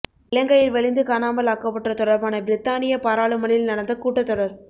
இலங்கையில் வலிந்து காணாமல் ஆக்கப்பட்டோர் தொடர்பான பிரித்தானிய பாராளுமனில் நடந்த கூட்டத்தொடர்